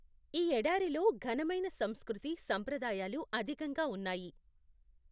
ఈ ఎడారిలో ఘనమైన సంస్కృతి, సంప్రదాయాలు అధికంగా ఉన్నాయి.